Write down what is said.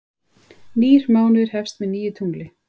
Nýr mánuður hefst með nýju tungli.